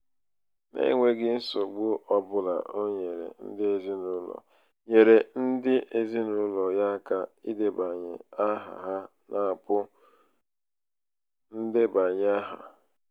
n'enweghị nsogbu ọ bụla o nyeere ndị ezinaụlọ nyeere ndị ezinaụlọ ya aka idebanye áhà ha n'apụ ndebanyeaha.